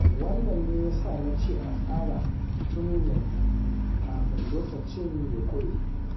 Wannan ne ya sa na ce a tsara tun yanzu, kafin lokaci ya ƙure.